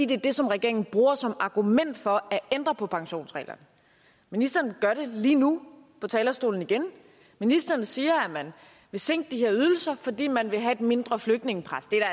det er det som regeringen bruger som argument for at ændre på pensionsreglerne ministeren gør det lige nu på talerstolen igen ministeren siger at man vil sænke de her ydelser fordi man vil have et mindre flygtningepres det er